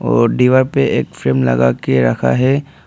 और दीवार पर एक फ्रेम लगा के रखा है।